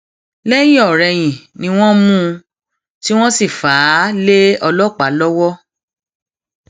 lẹyìnọrẹyìn ni wọn mú un tí wọn sì fà á lé ọlọpàá lọwọ